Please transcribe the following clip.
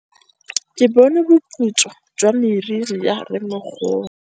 Ke bone boputswa jwa meriri ya rrêmogolo.